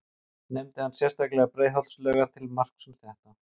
Nefndi hann sérstaklega Breiðholtslaugar til marks um þetta.